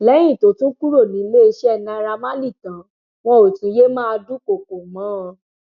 lẹyìn tó tún kúrò níléeṣẹ naira marley tán wọn ò tún yéé máa dúkoókò mọ ọn